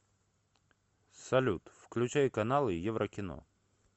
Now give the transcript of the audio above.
салют включай каналы еврокино